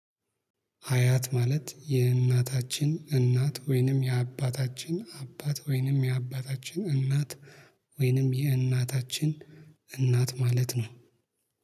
አያት ማለት የእናታችን እናት ወይንም የአባታችን አባት ወይንም የአባታችን እናት ወይንም የእናታችን እናት ማለት ነው